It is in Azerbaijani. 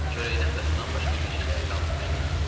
Çörəkdən və sudan başqa bir şeyləri qalmamışdı.